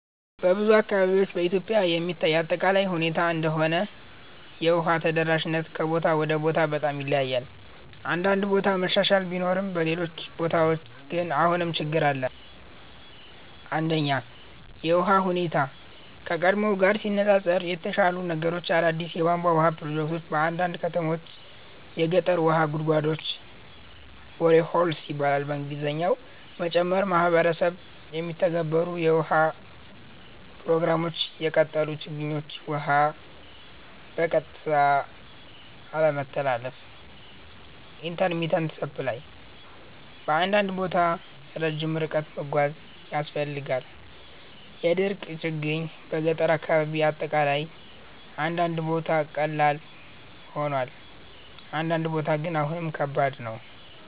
በብዙ አካባቢዎች (በኢትዮጵያ የሚታይ አጠቃላይ ሁኔታ እንደሆነ) የውሃ ተደራሽነት ከቦታ ወደ ቦታ በጣም ይለያያል። አንዳንድ ቦታ መሻሻል ቢኖርም በሌሎች ቦታዎች ግን አሁንም ችግኝ አለ። 1) የውሃ ሁኔታ (ከቀድሞ ጋር ሲነፃፀር) የተሻሻሉ ነገሮች አዳዲስ የቧንቧ ውሃ ፕሮጀክቶች በአንዳንድ ከተሞች የገጠር ውሃ ጉድጓዶች (boreholes) መጨመር ማህበረሰብ የሚተገበሩ የውሃ ፕሮግራሞች የቀጠሉ ችግኞች ውሃ በቀጥታ አለመተላለፍ (intermittent supply) በአንዳንድ ቦታ ረጅም ርቀት መጓዝ ያስፈልጋል የድርቅ ችግኝ በገጠር አካባቢ አጠቃላይ አንዳንድ ቦታ ቀላል ሆኗል፣ አንዳንድ ቦታ ግን አሁንም ከባድ ነው።